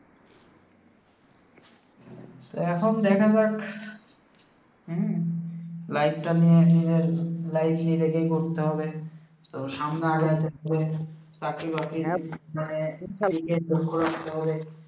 তো এহন দেখা যাক। হম life টা নিয়ে, নিজের life নিজেকেই গড়তে হবে, তো সামনে আগানোর ক্ষেত্রে চাকরি বাকরি মানে এদিকে লক্ষ্য রাখতে হবে ।